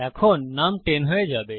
এখন নুম 10 হয়ে যাবে